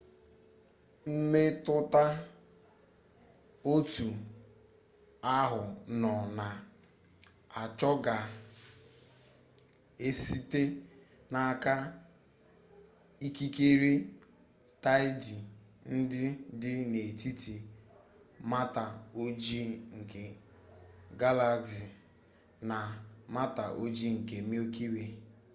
mmetụta otu ahụ nọ na-achọ ga-esite n'aka ikikere taịdị ndị dị n'etiti mata ojii nke galaxy na mata ojii nke milky way